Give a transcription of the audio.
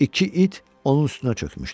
İki it onun üstünə çökmüşdü.